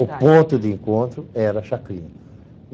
O ponto de encontro era a Chacrinha.